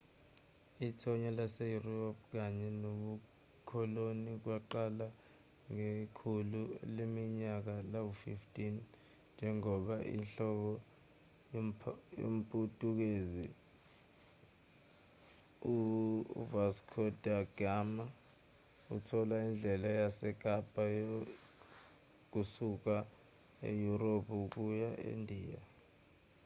ithonya laseyurophu kanye nobukoloni kwaqala ngekhulu leminyaka lama-15 njengoba inhloli yomputukezi u-vasco da gama ithola indlela yasekapa kusuka eyurophu ukuya endiya